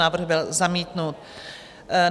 Návrh byl zamítnut.